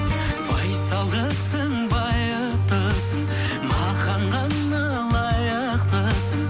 байсалдысың байыптысың маған ғана лайықтысың